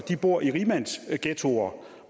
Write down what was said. bor i rigmandsghettoer